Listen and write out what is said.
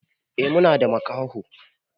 E Muna da makaho.